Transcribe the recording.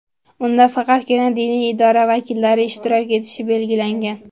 Unda faqatgina diniy idora vakillari ishtirok etishi belgilangan.